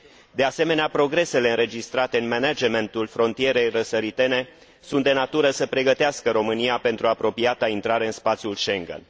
De asemenea, progresele înregistrate în managementul frontierei răsăritene sunt de natură să pregătească România pentru apropiata intrare în spațiul Schengen.